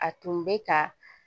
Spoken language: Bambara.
A tun bɛ ka